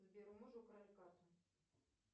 сбер у мужа украли карту